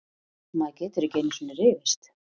Maður getur ekki einusinni rifist!